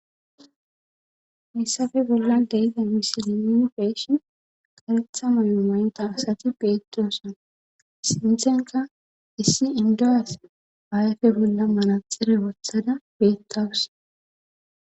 missafe bolla deyize misili nupeshin karetha muyumaynta asati petroossan sinthenka issi induyas ayfe bolla manaxire wothada bettawus